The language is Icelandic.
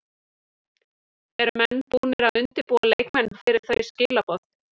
Eru menn búnir að undirbúa leikmenn fyrir þau skilaboð?